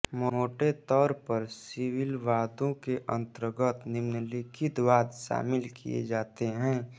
मोटे तौर पर सिविल वादों के अन्तर्गत निम्नलिखित वाद शामिल किये जाते हैं